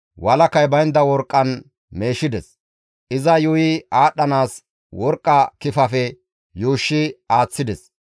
walakay baynda worqqan meeshides. Iza yuuyi aadhdhanaas worqqa kifafe yuushshi aaththides.